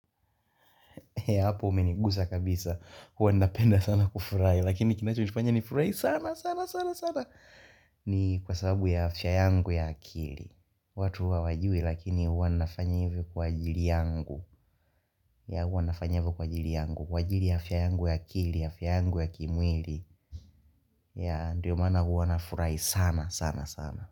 Ya hapo umenigusa kabisa huwa ninapenda sana kufurahi lakini kinacho nifurahi sana sana sana sana ni kwa sababu ya afya yangu ya akili watu hu hawajui lakini huwa ninafanya ivo kwa ajili yangu ya huwa ninafanya kwa ajili yangu kwa ajili ya afya yangu ya akili ya afya yangu ya kimwili ya ndio maana huwa nafurahi sana sana sana.